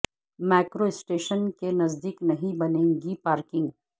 metro station کے نزد یک نہیں بنیں گی پارکنگ